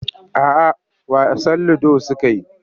A'a wasan ludo suka yi.